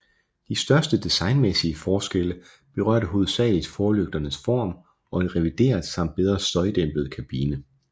De største designmæssige forskelle berørte hovedsageligt forlygternes form og en revideret samt bedre støjdæmpet kabine